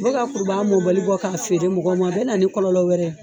O bɛ ka kurubaga mobali bɔ k'a feere mɔgɔw ma, a bɛ na ni kɔlɔlɔ wɛrɛ ye